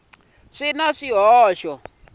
swi na swihoxo kambe mongo